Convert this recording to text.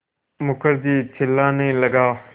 मुखर्जी चिल्लाने लगा